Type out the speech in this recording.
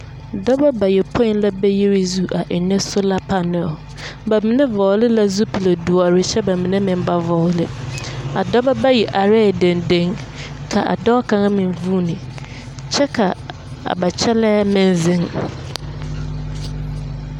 Dͻbͻ bayopoi la be yiri zu a ennԑ sola panԑl. Ba mine vͻgele la zupili-dõͻre kyԑ ka ba mine ba vͻgele. A dͻbͻ bayi arԑԑ dendenne kyԑ ka a dͻͻ kaŋa meŋ vuuni kyԑ ka a ba kyԑlԑԑ meŋ zeŋ.